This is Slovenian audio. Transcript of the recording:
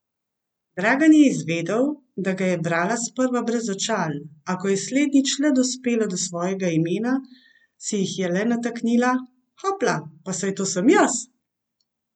Dragan je izvedel, da ga je brala sprva brez očal, a ko je slednjič le dospela do svojega imena, si jih je le nataknila, hopla, pa saj to sem jaz!